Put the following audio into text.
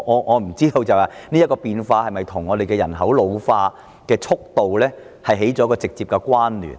我不知道這種變化是否與人口老化的速度息息相關？